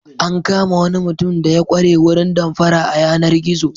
An kama wani mutum da ya ƙware wurin damfara a yanar-gizo.